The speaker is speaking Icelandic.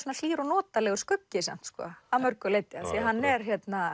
hlýr og notalegur skuggi samt að mörgu leyti hann er